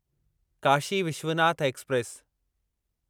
Kashi Vishwanath express